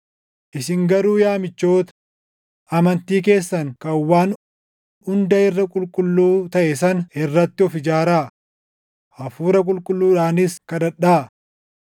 Isin garuu yaa michoota, amantii keessan kan waan hunda irra qulqulluu taʼe sana irratti of ijaaraa; Hafuura Qulqulluudhaanis kadhadhaa.